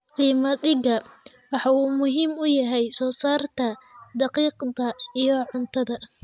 Qamadiga: waxa uu muhiim u yahay soo saarista daqiiqda iyo cuntada.